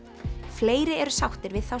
fleiri eru sáttir við þá